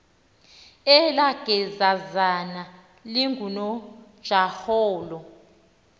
elaa gezazana lingunojaholo